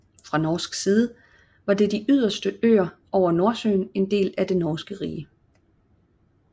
Fra norsk side var de yderste øer over Nordsøen en del af det norske rige